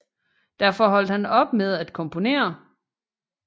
Derfor holdt han op med at komponere